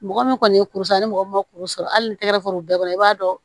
Mɔgɔ min kɔni ye kuru san ni mɔgɔ min ma kuru sɔrɔ hali n'i tɛgɛ fur'u bɛɛ kɔrɔ i b'a dɔn